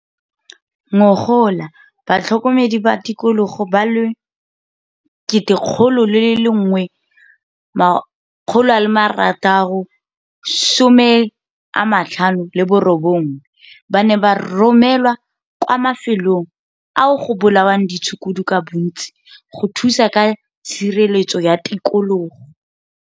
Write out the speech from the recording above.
Ngogola batlhokomedi ba tikologo ba le 1 659 ba ne ba romelwa kwa mafelong ao go bolawang ditshukudu ka bontsi go thusa ka tshireletso ya tikologo.